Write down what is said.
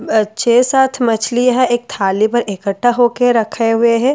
अ छह सात मछली है एक थाली पे इकट्ठा होके रखे हुए है थाली जो --